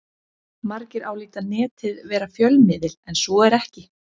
Margir álíta Netið vera fjölmiðil en svo er ekki.